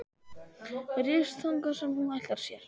Ryðst þangað sem hún ætlar sér.